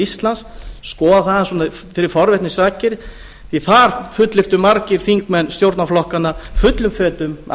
íslands skoða það svona fyrir forvitni sakir því að þar fullyrtu margir þingmenn stjórnarflokkanna fullum fetum að